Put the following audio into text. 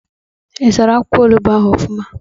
I sara akwụkwọ ọnụgbu ahụ ofuma?